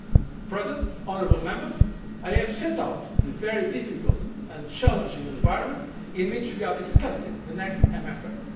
system. Mr President, honourable Members, I have set out the very difficult and challenging environment in which we are discussing the